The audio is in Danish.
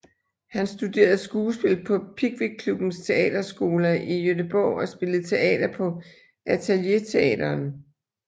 Han studerede skuespil på Pickwickklubbens teaterskola i Göteborg og spillede teater på Atelierteatern